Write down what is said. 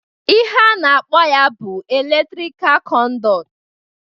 Ihe a na-akpọ ya bụ eletrikal kọnduit